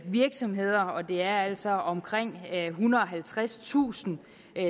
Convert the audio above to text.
virksomheder og det er altså omkring ethundrede og halvtredstusind